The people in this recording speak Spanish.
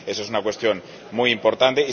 Esa es una cuestión muy importante.